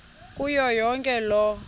kuyo yonke loo